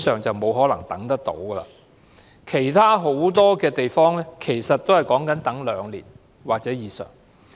至於其他地區，其實很多也需輪候兩年或以上。